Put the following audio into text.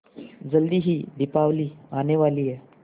जल्दी ही दीपावली आने वाली है